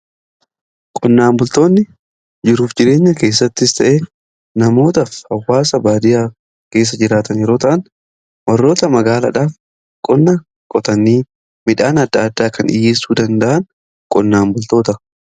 Qonnaan bultoonni jiruuf jireenya keessattis ta'e namoota f hawwaasa baadiyaa keessa jiraatan yeroo ta'an warroota magaaladhaaf qonnaa qotanii midhaan adda addaa kan dhiyeessuu danda'an qonnaan bultoota.